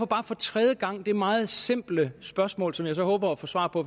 bare for tredje gang det meget simple spørgsmål som jeg så håber at få svar på